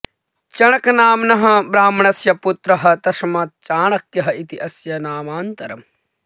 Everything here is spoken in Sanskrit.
चणकनाम्नः ब्राह्मणस्य पुत्रः तस्मात् चाणक्यः इति अस्य नामान्तरम्